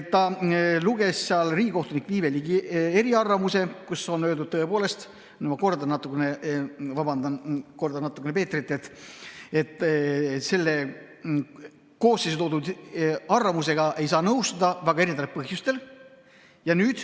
Ta luges ette riigikohtunik Viive Ligi eriarvamuse, milles on öeldud – ma kordan natukene Peetrit, vabandust –, et selle koosseisu arvamusega ei saa nõustuda mitmel põhjusel.